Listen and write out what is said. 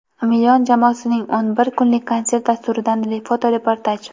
"Million" jamoasining o‘n bir kunlik konsert dasturidan fotoreportaj.